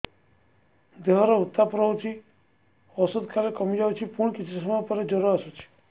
ଦେହର ଉତ୍ତାପ ରହୁଛି ଔଷଧ ଖାଇଲେ କମିଯାଉଛି ପୁଣି କିଛି ସମୟ ପରେ ଜ୍ୱର ଆସୁଛି